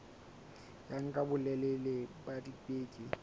ya nka bolelele ba dibeke